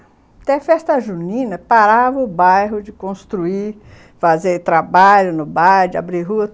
Até festa junina, parava o bairro de construir, fazer trabalho no bairro, de abrir rua.